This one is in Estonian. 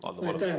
Aitäh!